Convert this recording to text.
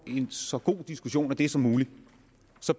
en så god diskussion af det som muligt